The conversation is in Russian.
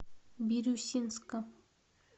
бирюсинска